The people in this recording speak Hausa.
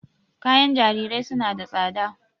Kayan jarirai suna da tsada.